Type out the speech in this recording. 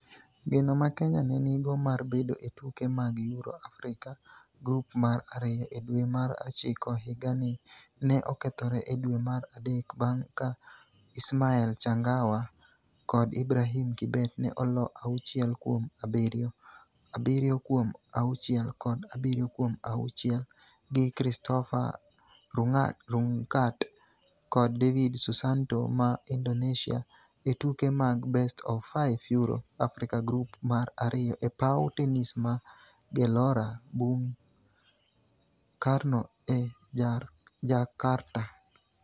Geno ma Kenya ne nigo mar bedo e tuke mag Euro/Africa Group mar ariyo e dwe mar ochiko higani ne okethore e dwe mar adek bang' ka Ismael Changawa kod Ibrahim Kibet ne oloo auchiel kuom abiriyo, abiriyo kuom auchiel, kod abiriyo kuom auchiel gi Christopher Rungkat kod David Susanto ma Indonesia e tuke mag best-of-five Euro/Africa Group mar ariyo e paw tenis ma Gelora Bung Karno e Jarkarta.